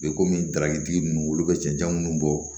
komi darabitigi ninnu olu bɛ cɛncɛn munnu bɔ